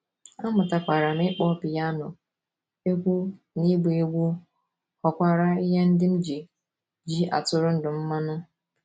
Amụtakwara m ịkpọ pịano, egwú na ịgba egwú ghọkwara ihe ndị m ji ji atụrụ ndụ m mmanụ.